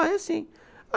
Ah, é sim.